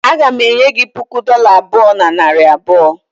Aga m enye gị puku dola abụọ na narị abụọ